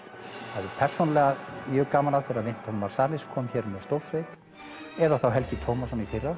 hafði persónulega mjög gaman af þegar kom hér með stórsveit eða þá Helgi Tómasson í fyrra